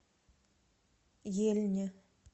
ельне